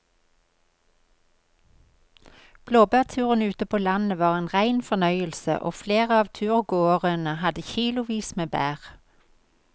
Blåbærturen ute på landet var en rein fornøyelse og flere av turgåerene hadde kilosvis med bær.